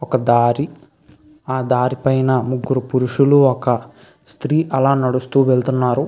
ఒక దారి ఆ దారి పైన ముగ్గురు పురుషులు ఒక స్త్రీ అలా నడుస్తూ వెళుతున్నారు.